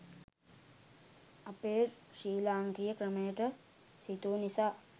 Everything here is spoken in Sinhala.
අපේ ශ්‍රී ලාංකීය ක්‍රමයට සිතු නිසා